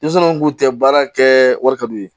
Denmisɛnw kun tɛ baara kɛ wari ka d'u ye